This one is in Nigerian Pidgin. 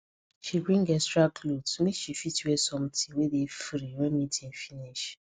she bring extra cloth make she fit wear something wey dey free when meeting finish